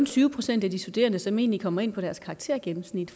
tyve procent af de studerende som egentlig kom ind på deres karaktergennemsnit